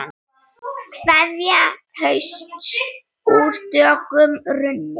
Kveðja hausts úr dökkum runni.